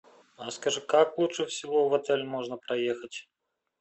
расскажи как лучше всего в отель можно проехать